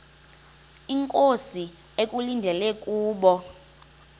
inkosi ekulindele kubo